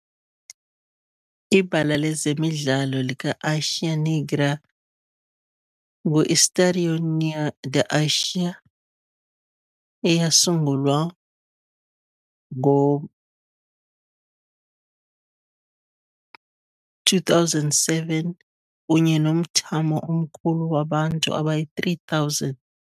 Ibala lezemidlalo lika-Águia Negra, ngu-Estádio Ninho da Águia, eyasungulwa ngo-2007, kunye nomthamo omkhulu wabantu abayi-3,000.